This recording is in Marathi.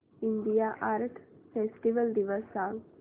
इंडिया आर्ट फेस्टिवल दिवस सांग